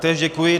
Též děkuji.